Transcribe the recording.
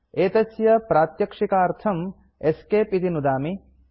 एतस्य प्रात्यक्षिकतार्थं ESC इति नुदामि